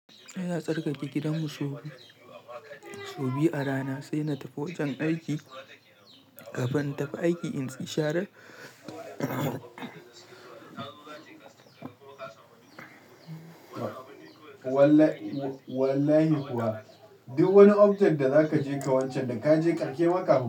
Sai na tsarkake gidanmu sau biyu a rana sai na tafi wajen aiki, kafin in tafi aiki in tsi sharar. Wallahi kuwa duk wani object da zaka ji ka wancan da ka je ƙarke maka.